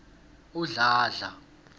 udladla